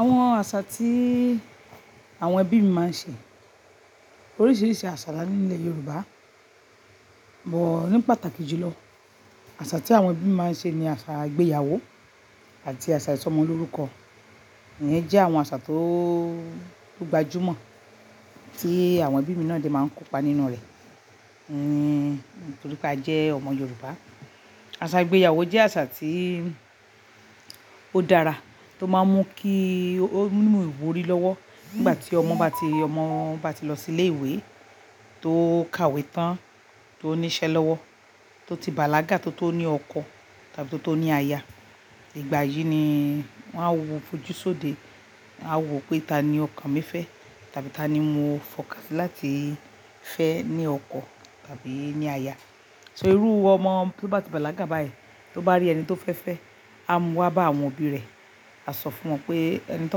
Àwọn àṣà tí àwọn ẹbí mi máa ń ṣe, oríṣiríṣi àṣà la ní nilẹ̀ Yorùbá, but ní pàtàkì jù lọ, àṣà tí àwọn ẹbí mi máa ń ṣe ni àṣà ìgbéyàwó àti àṣà ìsọmọlórúkọ. Ìyẹn jẹ́ àwọn àṣà tó gbajúmọ̀ tí àwọn ẹbí mi náà dé máa ń kópa nínú rẹ̀. Ni nítorí pé a jẹ́ ọmọ Yorùbá. Àṣà ìgbéyàwó jẹ́ àṣà tí ó dára tó máa ń mú kí ó mú ìwúrí lọ́wọ́. Nígbà tí ọmọ bá ti, ọmọ bá ti lọ sí ilé ìwé, tó kàwé tán, tó ní iṣẹ́ lọ́wọ́, tó ti bàlágà, tó tó ní ọkọ tàbí tó tó ní aya. Ìgbà yìí ni wọ́n á wo fojúṣode. A ó wo pé ta ni ọkàn mi fẹ́ tàbí ta ni mo fọkàsí láti fẹ́ ní ọkọ tàbí ní aya. So irú ọmọ tí ó bá ti bàlágà báyìí, tí ó bá rí ẹni tí ó fẹ́ fẹ́, a mú wá bá àwọn òbí rẹ̀, a sọ fún wọn pé ẹni tí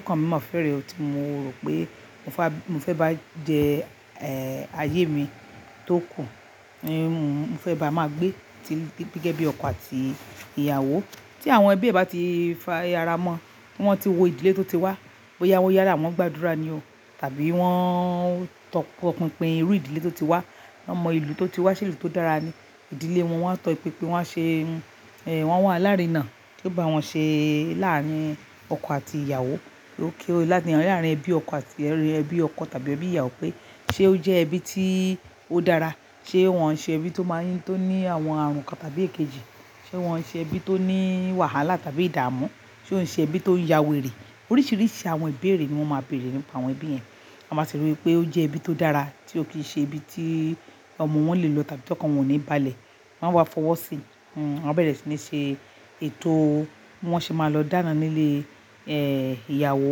ọkàn mi mọ̀ fẹ́ rẹ̀ tí mo rò pé mo fẹ́, mo fẹ́ bá jẹ, ẹ́ẹ̀, ayé mi tó kù, ni mo, mo fẹ́ bá a máa gbé ti gẹ́gẹ́ bí ọkọ àti ìyàwó. Tí àwọn ẹbí bá ti fara mọ́, tí wọ́n ti wo ìdílé tó ti wá, bóyá yálà wọ́n gbàdúrà ni o, tàbí wọ́n tọpinpin irú ìdílé tó ti wá, wọ́n mọ ìlú tó ti wá, sé ìlú tó dára ni. Ìdílé wọn, wọ́n tọpinpin, wọ́n á ṣe, ẹ́ẹ̀, wọ́n a wà alarínà, tí ó bá wọn ṣe láàárín ọkọ àti ìyàwó. Okay o láàrin ẹbí ọkọ àti, ẹbí ọkọ tàbí ẹbí ìyàwó pé ṣe ó jẹ́ ẹbí tí ó dára, ṣe wọ́n ṣe ẹbí tó máa ń ní, tó ní àwọn àrùn kan tàbí èkejì. Ṣe wọ́n ṣe ẹbí tó ní wàhálà tàbí ìdààmú. Ṣe wọ́n ṣe ẹbí tó ń yá wèrè. Oríṣiríṣi àwọn ìbéèrè ni wọ́n máa béèrè nípa àwọn ẹbí yẹn. Tán bá rí pé ó jẹ́ ẹbí tó dára tí ó kì í ṣe ẹbí tí ọmọ wọn lè lọ tàbí tí ọkọ wọn ò níbalẹ̀. Wọ́n á wá fọwọ́ sí i. Wọ́n á bẹ̀rẹ̀ sí ní ṣe ètò bí wọ́n ṣe máa lọ dáná nílé, ìyàwó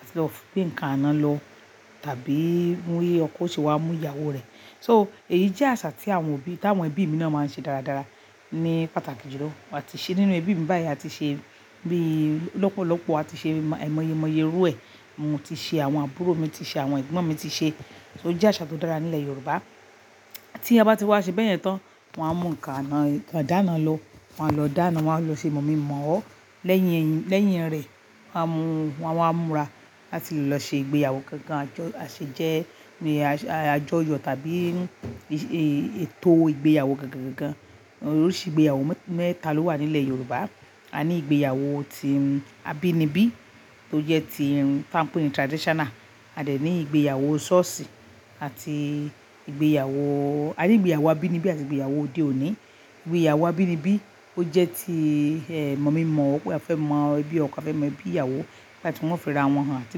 àti lọ fi nǹkan àná lọ tàbí mú yé ọkọ ṣe wá mú ìyàwó rẹ̀. So èyí jẹ́ àṣà tí àwọn òbí tàwọn ẹbí mi máa ṣe dáradára ní pàtàkì jùlọ. A ti ṣe nínú ẹbí mi báyìí, a ti ṣe bíi lọ́pọ̀lọ́pọ̀, a ti ṣe mọ́ aimọye-mọye irú ẹ. Mo ti ṣe, àwọn àbúrò mi ti ṣe, àwọn ẹ̀gbọ́n mi ti ṣe. So ó jẹ́ àṣà tó dára nílẹ̀ Yorùbá. Tí a bá ti wá ṣe bẹ́ẹ̀ yẹn tán, wọn á mú nǹkan àná, ǹkan dáná lọ, wọ́n á lọ dáná, wọ́n á lọ ṣe mọ̀-mí-mọ̀-ọ́. Lẹ́yìn ẹ, lẹ́yìn rẹ̀, wọ́n á mú, wọ́n á múra láti lọ ṣe ìgbéyàwó gangan. A jọ, a ṣe jẹ́ ní àjo- àjọyọ̀ tàbí ètò ìgbéyàwó gangan gangan. Oríṣi ìgbéyàwó mẹ́ta ló wà nílẹ̀ Yorùbá. A ní ìgbéyàwó tí abínibí tó jẹ́ ti ta ń pè ní traditional. A dẹ̀ ní ìgbéyàwó ṣọ́ọ̀ṣì àti ìgbéyàwó, a ní ìgbéyàwó abínibí àti ìgbéyàwó òde òní. Ìgbéyàwó àbínibí ó jẹ́ ti mọ̀ mí mọ̀ ọ́, pé afẹ́ mọ ẹbí ọkọ afẹ́ mọ ẹbí ìyàwó nígbà tí wọ́n ó fi ra wọn hàn tí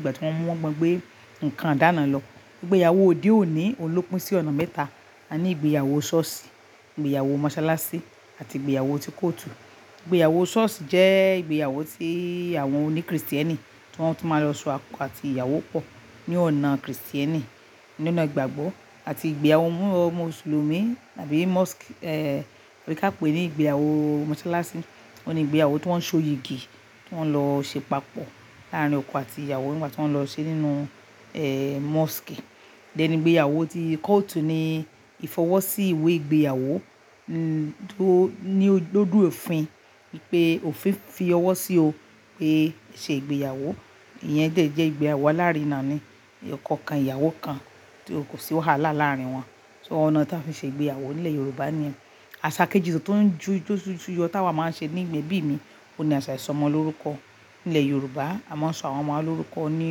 gbà wọ́n mú ma gbé ǹkan dáná lọ. Ìgbéyàwó òde òní, óhun ló pín sí ọ̀nà mẹ́ta. A ní ìgbéyàwó ṣọ́ọ̀ṣì, ìgbéyàwó mọsálásí àti ìgbéyàwó ti kóòtù. Ìgbéyàwó ṣọ́ọ̀ṣì jẹ́ ìgbéyàwó tí àwọn oní Kristẹni tí wọ́n tó máa lọ ṣọ ọkọ àti ìyàwó pọ̀ ní ọ̀nà Kristẹni ní ọ̀nà ìgbàgbọ́ àti ìgbéyàwó ọmọ Mùsùlùmí tàbí mosque, bí kà pé ní ìgbéyàwó mọsálásí. Ó ní ìgbéyàwó tí wọ́n ń ṣoyìgì tí wọ́n lọ ṣe papọ̀ láàárín ọkọ àti ìyàwó nígbà tí wọ́n lọ ṣe nínú, mosque. Then ìgbéyàwó ti kóòtù ni ìfọwọ́sí ìwé ìgbéyàwó tó ní lodu òfin ipé òfin fi ọwọ́ sí ọ pé ṣe ìgbéyàwó. Ìyẹn dẹ̀ jẹ́ ìgbéyàwó aláàárín náà ni. Ọkọ kan ìyàwó kan so kòsí wàhálà láàrín wọn. So ọ̀nà tí a fi ṣe ìgbéyàwó nílẹ̀ Yorùbá ni ẹ. Àṣà kejì tó ń ju jọ ju yọ táa wa máa ń ṣe ní ẹbí mi, òun ni àṣà ìsọmọlórúkọ nílẹ̀ Yorùbá. A máa ń sọ àwọn ọmọ wa lórúkọ ni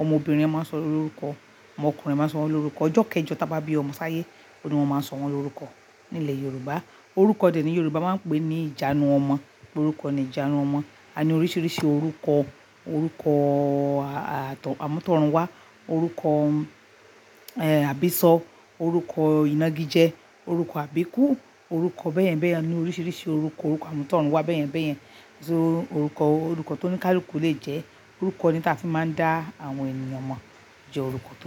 ọmọbìnrin a máa ń sọ lórúkọ, ọmọkùnrin a máa ń sọ wọn lórúkọ. Ọjọ́ kẹjọ tí a bá bí ọmọ sáyé, òun ni wọ́n máa ń sọ wọn lórúkọ nílẹ̀ Yorùbá. Orúkọ dẹ̀ ni Yorùbá máa ń pè ní ìjánu ọmọ, pé orúkọ ni ìjánu ọmọ. A ní oríṣiríṣi orúkọ, orúkọ àtọ̀, àmútọ̀runwá, orúkọ, àbísọ́, orúkọ ìnági jẹ, orúkọ àbíkú, orúkọ bẹ́ẹ̀yẹn bẹ́ẹ̀yẹn ni oríṣiríṣi orúkọ. Orúkọ àmútọ̀runwá bẹ́ẹ̀yẹn bẹ́ẹ̀yẹn. Orúkọ, orúkọ tó ní káluku lè jẹ́ orúkọ ni tí a fi máa ń dá àwọn ènìyàn mọ̀ jẹ́ orúkọ tó jẹ́